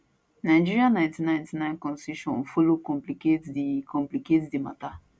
nigeria 1999 constitution follow complicate di complicate di mata